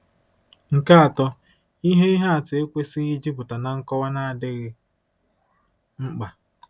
Nke atọ, ihe ihe atụ ekwesịghị ịjupụta na nkọwa na-adịghị mkpa.